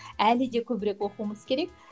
әлі де көбірек оқуымыз керек